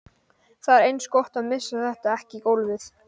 Það er eins gott að missa þetta ekki í gólfið!